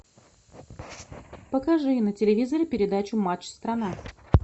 покажи на телевизоре передачу матч страна